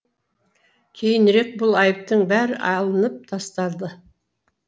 кейінірек бұл айыптың бәрі алынып тасталды